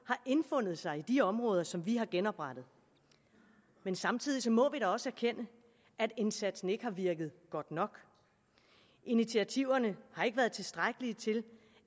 indfundet sig i de områder som vi har genoprettet men samtidig må da også erkende at indsatsen ikke har virket godt nok initiativerne har ikke været tilstrækkelige til